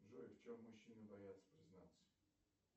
джой в чем мужчины боятся признаться